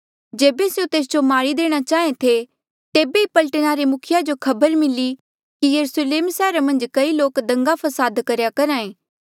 जेबे स्यों तेस जो मारी देणा चाहें थे तेबे ई पलटना रे मुखिया जो खबर मिली कि यरुस्लेम सैहरा मन्झ कई लोक दंगा फसाद करेया करहा ऐें